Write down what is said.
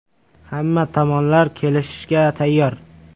Hamma tomonlar kelishishga tayyor.